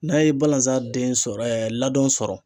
N'a ye balanzan den sɔrɔ ɛɛ ladɔn sɔrɔ